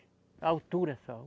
A altura só.